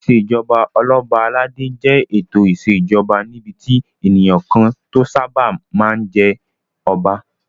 Ìṣèjoba Ọlọ́ba aládé jẹ́ ètò ìṣèjoba níbi tí ènìyàn kan tó sáábà máa ń jẹ́ Ọba